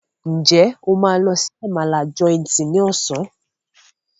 Njé o ma ló sì Àmàlà Joint ní Ọ̀sán?